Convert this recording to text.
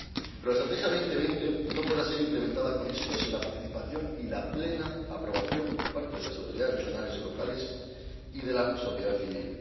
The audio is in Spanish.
Pero la Estrategia Europa 2020 no podrá ser implementada con éxito sin la participación y la plena aprobación por parte de las autoridades regionales y locales y de la sociedad civil.